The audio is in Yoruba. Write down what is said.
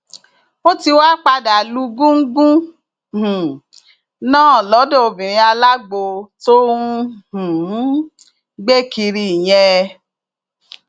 ó ti wáá padà lu gúngún um náà lọdọ obìnrin alágbó tó ń um gbé kiri yẹn